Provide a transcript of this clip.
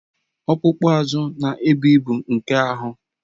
Ọkpụkpụ azụ na-ebu ibu nke ahụ